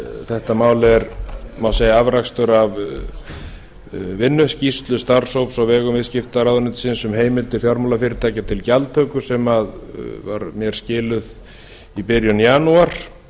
þetta mál er má segja afrakstur af vinnuskýrslu starfshóps á vegum viðskiptaráðuneytisins um heimildir fjármálafyrirtækja til gjaldtöku sem var mér skilað í byrjun janúar